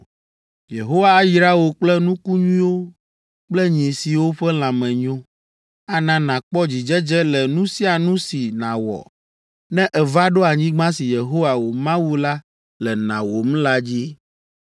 Yehowa ayra wò kple nuku nyuiwo kple nyi siwo ƒe lãme nyo. Ana nàkpɔ dzidzedze le nu sia nu si nàwɔ ne èva ɖo anyigba si Yehowa, wò Mawu la le nawòm la dzi.